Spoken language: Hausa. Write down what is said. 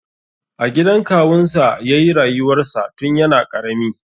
A gidan kawunsa ya yi rayuwarsa tun yana ƙarami.